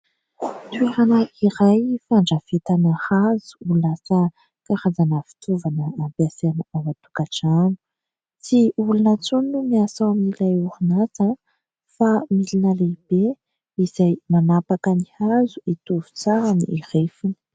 Toerana iray fandrafetana hazo ho lasa karazana fitaovana ampiasaina ao an-tokantrano. Tsy olona intsony no miasa ao amin'ilay orinasa fa milina lehibe izay manapaka ny hazo hitovy tsara ny refiny.